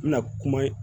N bɛna kuma ye